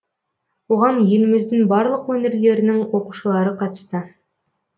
оған еліміздің барлық өңірлерінің оқушылары қатысты